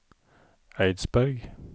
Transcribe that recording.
Eidsberg